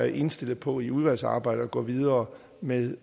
indstillet på i udvalgsarbejdet at gå videre med